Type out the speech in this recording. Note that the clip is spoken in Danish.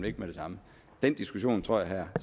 ikke med det samme den diskussion tror jeg herre